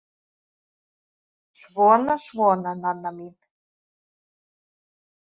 Svona, svona, Nanna mín.